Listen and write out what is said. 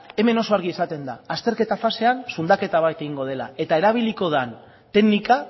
hemen oso argi esaten da azterketa fasean sundaketa bat egingo dela eta erabiliko den teknika